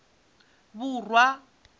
vhura